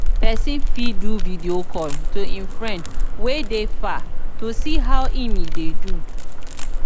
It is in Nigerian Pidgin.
persin fit do video call to im friend wey de far to see and know how im de do